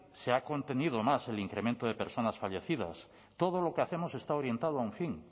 se ha contenido más el incremento de personas fallecidas todo lo que hacemos está orientado a un fin